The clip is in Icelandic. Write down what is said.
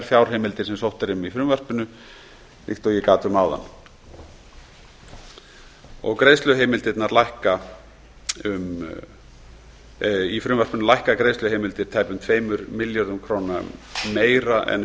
fjárheimildir sem sótt er um í frumvarpinu líkt og ég gat um áðan í frumvarpinu lækka greiðsluheimildir tæpum tvö milljörðum króna meira en